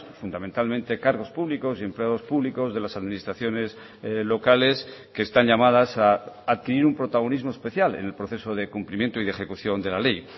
fundamentalmente cargos públicos y empleados públicos de las administraciones locales que están llamadas a adquirir un protagonismo especial en el proceso de cumplimiento y de ejecución de la ley